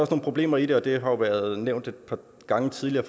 problemer i det og det har været nævnt et par gange tidligere